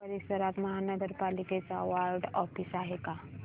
या परिसरात महानगर पालिकेचं वॉर्ड ऑफिस आहे का